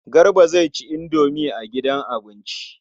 Garba zai ci indomi a gidan abinci.